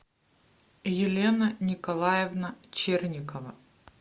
елена николаевна черникова